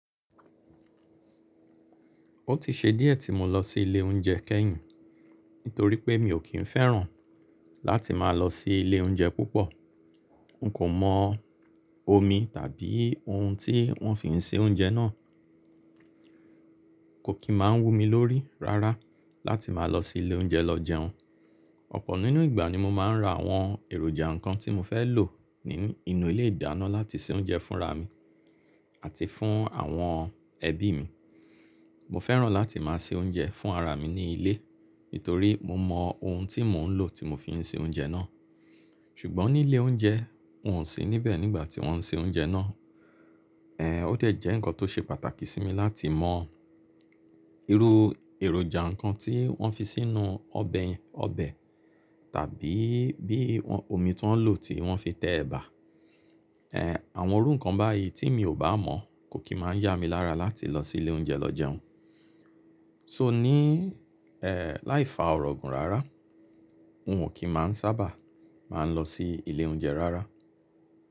Ó ti ṣe díẹ̀ tí mo lọ sí ilé oúnjẹ kẹ́yìn nítorí pé mi ò kí ń fẹ́ràn láti máa lọ sí ilé oúnjẹ púpọ̀. N kò mọ omi tàbí ohun tí wọ́n fi ń se oúnjẹ náà. Kò kí máa ń wú mi lórí rárá láti máa lọ sí ilé oúnjẹ lọ jẹun. Ọ̀pọ̀ nínú ìgbà ni mo máa ń ra àwọn èròjà nǹkan tí mo fẹ́ lò nínú ilé ìdáná láti se oúnjẹ fúnra mi àti fún àwọn ẹbí mi. Mo fẹ́ràn láti máa se oúnjẹ fún ara mi ní ilé nítorí mo mọ ohun tí mò ń lò tí mo fi ń se oúnjẹ náà. Ṣùgbọ́n ní ilé oúnjẹ n ò sí níbẹ̀ nígbà tí wọ́n ń se oúnjẹ náà. Ẹ̀ ó dẹ̀ jẹ́ nǹkan tó ṣe pàtàkì sí mi láti mọ irú èròjà nǹkan tí wọ́n fi sínú ọbẹ̀ yẹn ọbẹ̀ tàbí bí omi tí wọ́n lò tí wọ́n fi tẹ ẹ̀bà. Ẹ̀ àwọn irú nǹkan báyìí tí mi ò bá mọ̀ kò kí máa yá mi lára láti lọ sí ilé oúnjẹ lọ jẹun. So ní, ẹ̀ láìfa ọ̀rọ̀ gùn rárá n ò kí máa ń sábà máa ń lọ sí ilé oúnjẹ rárá.